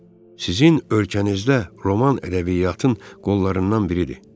Sizin ölkənizdə roman ədəbiyyatın qollarından biridir.